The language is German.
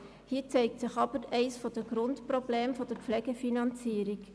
Hier zeigt sich jedoch eines der Grundprobleme der Pflegefinanzierung: